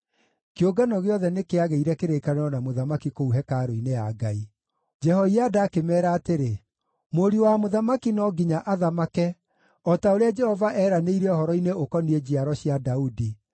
kĩũngano gĩothe nĩkĩagĩire kĩrĩkanĩro na mũthamaki kũu hekarũ-inĩ ya Ngai. Jehoiada akĩmeera atĩrĩ, “Mũriũ wa mũthamaki no nginya athamake, o ta ũrĩa Jehova eeranĩire ũhoro-inĩ ũkoniĩ njiaro cia Daudi.